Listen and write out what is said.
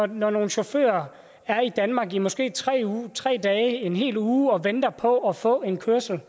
når nogle chauffører er i danmark i måske tre tre dage eller en hel uge og venter på at få en kørsel